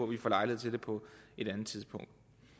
vi får lejlighed til det på et andet tidspunkt